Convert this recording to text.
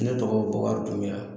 ne tɔgɔ Bɔkari Dunbiya